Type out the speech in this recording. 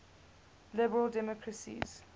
liberal democracies